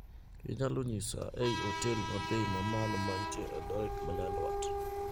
Inyalo nyisa eiw hotel mabei mamalo mantie eldoret nyandwat?